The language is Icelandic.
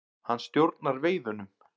Hann stjórnar veiðunum.